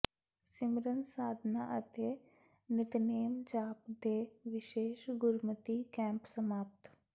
ਸਿਮਰਨ ਸਾਧਨਾ ਅਤੇ ਨਿਤਨੇਮ ਜਾਪ ਦੇ ਵਿਸ਼ੇਸ਼ ਗੁਰਮਤਿ ਕੈਂਪ ਸਮਾਪਤ